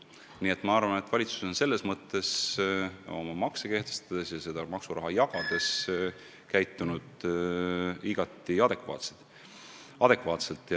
Nii et ma arvan, et valitsus on makse kehtestades ja maksuraha jagades käitunud igati adekvaatselt.